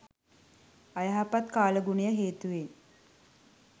අයහපත් කාලගුණය හේතුවෙන්